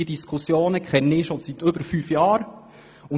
Diese Diskussionen sind mir seit über fünf Jahren bekannt.